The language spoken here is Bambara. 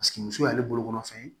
muso y'ale bolokɔrɔ fɛn ye